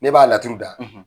N'e b'a laturu da,